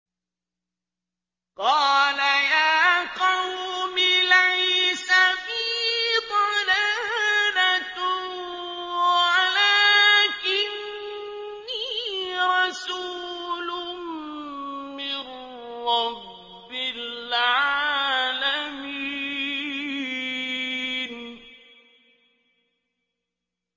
قَالَ يَا قَوْمِ لَيْسَ بِي ضَلَالَةٌ وَلَٰكِنِّي رَسُولٌ مِّن رَّبِّ الْعَالَمِينَ